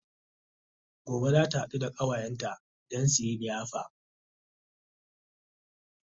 Gobe zata haɗu da ƙawayenta Dan suyi liyafa